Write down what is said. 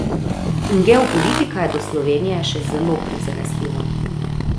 In geopolitika je do Slovenije še zelo prizanesljiva.